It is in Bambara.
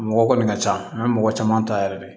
Mɔgɔ kɔni ka ca n bɛ mɔgɔ caman ta yɛrɛ de